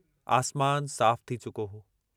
आसमान साफ थी चुको हो।